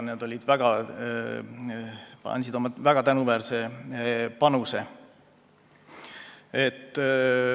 Nad andsid väga tänuväärse panuse.